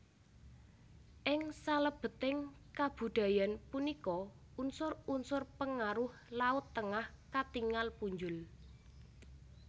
Ing salebeting kabudayan punika unsur unsur pengaruh laut Tengah katingal punjul